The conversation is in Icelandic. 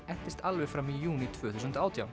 entist alveg fram í júní tvö þúsund og átján